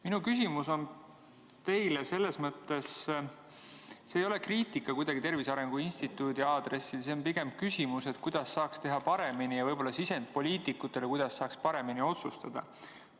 Minu küsimus ei ole kuidagi kriitika Tervise Arengu Instituudi aadressil, see on pigem küsimus, kuidas saaks teha paremini, ja võib-olla sisend poliitikutele, kuidas saaks paremini otsustada.